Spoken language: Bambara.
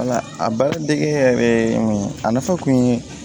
a baara dege yɛrɛ mun ye a nafa kun ye